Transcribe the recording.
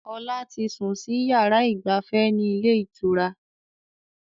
Ọlá tí sun sì yára ìgbafẹ́ ni ilé ìtura